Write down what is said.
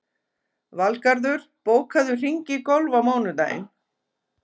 Valgarður, bókaðu hring í golf á mánudaginn.